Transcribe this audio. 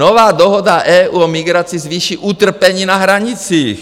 Nová dohoda EU o migraci zvýší utrpení na hranicích.